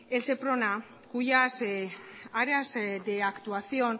l seprona cuyas áreas de actuación